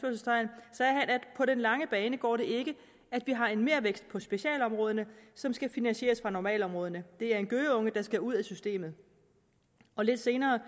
på den lange bane går det ikke at vi har en mervækst på specialområderne som skal finansieres fra normalområderne det er en gøgeunge der skal ud af systemet lidt senere